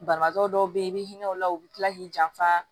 Banabaatɔ dɔw be yen i bɛ hinɛ o la u bɛ tila k'i janfa